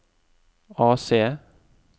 AC